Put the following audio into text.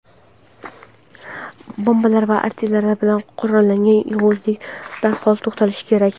bombalar va artilleriya bilan qurollangan yovuzlik darhol to‘xtatilishi kerak.